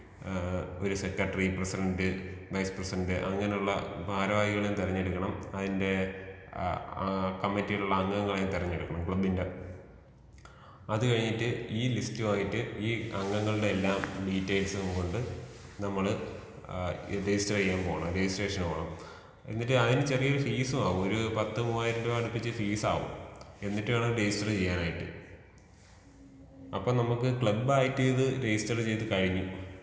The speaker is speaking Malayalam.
ഏഹ് ഒരു സെക്ട്ടറി ,പ്രസിഡന്റ്, വൈസ് പ്രസിഡന്റ് അങ്ങനെ ഉള്ള ഭാരവാഹികളെ തെരഞ്ഞെടുക്കണം.അതിന്റെ ആ കമ്മിറ്റിയിലുള്ള അംഗങ്ങളെയും തെരഞ്ഞെടുക്കണം.ക്ലബ് ന്റെ. അത് കഴിഞ്ഞിട്ട് ഈ ലിസ്റ്റ് വായിട്ട് ഈ അംഗങ്ങളുടെ എല്ലാ ഡീറ്റെയിൽസും കൊണ്ട് നമ്മൾ രജിസ്റ്റർ ചെയ്യാൻ പോണം. രെജിസ്ട്രേഷൻ പോണം. എന്നിട്ട് അതിന് ചെറിയൊരു ഫീസ് വാങ്ങും ഒര് പത്ത് മുവായിരം അടുപ്പിച് ഫീസാവും. എന്നിട്ട് വേണം രജിസ്റ്റർ ചെയ്യാൻ ആയിട്ട്. അപ്പോ നമ്മുക്ക് ക്ലബ് ആയിട്ടിത് രജിസ്റ്റർ ചെയ്തു കഴിഞ്ഞു.